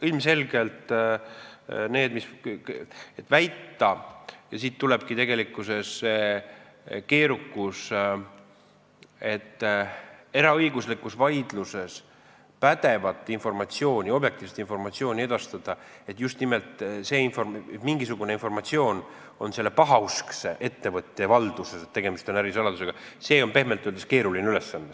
Ilmselgelt tulenebki tegelikkuses keerukus sellest, et eraõiguslikus vaidluses pädeva objektiivse informatsiooni edastamine, et mingisugune informatsioon on pahauskse ettevõtja valduses ja tegemist on ärisaladusega, on, pehmelt öeldes, keeruline ülesanne.